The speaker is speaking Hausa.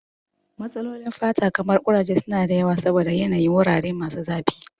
Matsalolin fata kamar kuraje su na da yawa saboda yanayin wurare masu zafi.